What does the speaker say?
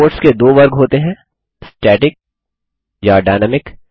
reports के दो वर्ग होते हैं स्टैटिक या डायनामिक